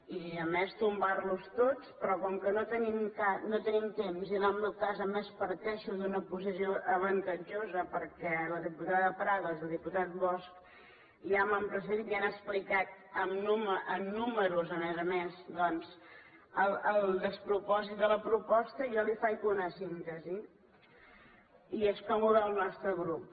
i a més tombarlos tots però com que no tenim temps i en el meu cas a més parteixo d’una posició avantatjosa perquè la diputada prados i el diputat bosch ja m’han precedit i han explicat amb números a més a més doncs el despropòsit de la proposta jo li’n faig una síntesi i és com ho veu el nostre grup